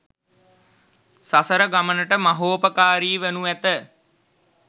සසර ගමනට මහෝපකාරී වනු ඇත.